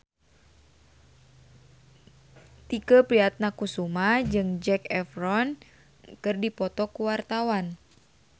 Tike Priatnakusuma jeung Zac Efron keur dipoto ku wartawan